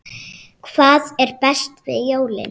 Hvað er best við jólin?